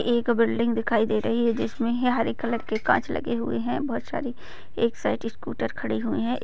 एक बिल्डिंग दिखाई दे रही है। जिस हे हरे कलर के काँच लगे हुए है। बहुत सारे एक साइड स्कूटर खड़ी हुई है।